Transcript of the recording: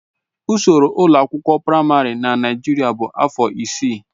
Ụsoro ụlọ akwụkwọ praịmarị na Naijiria bụ afọ isii.